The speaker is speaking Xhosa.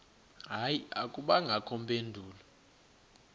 hayi akubangakho mpendulo